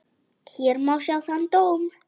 Hér má sjá þann dóm.